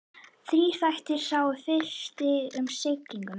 Þrír þættir, sá fyrsti um siglinguna.